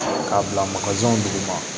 K'a bila dugu ma